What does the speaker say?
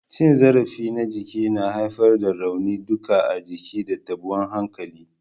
Cin zarafi na jiki yana haifar da rauni duka a jiki da tabuwan hankali.